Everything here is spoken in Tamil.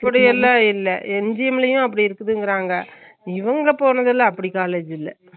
அப்புடிஎல்ல இல்ல NGM லையும் அப்புடி இருக்குதுங்குறாங்க இவுங்க போனதுல அப்புடி college இல்ல